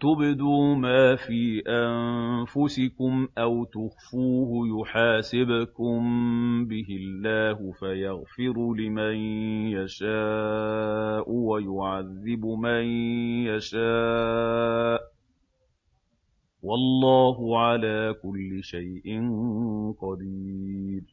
تُبْدُوا مَا فِي أَنفُسِكُمْ أَوْ تُخْفُوهُ يُحَاسِبْكُم بِهِ اللَّهُ ۖ فَيَغْفِرُ لِمَن يَشَاءُ وَيُعَذِّبُ مَن يَشَاءُ ۗ وَاللَّهُ عَلَىٰ كُلِّ شَيْءٍ قَدِيرٌ